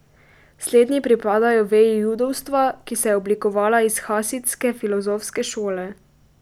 Slednji pripadajo veji judovstva, ki se je oblikovala iz hasidske filozofske šole.